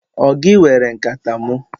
Ọ gị were nkata mụ?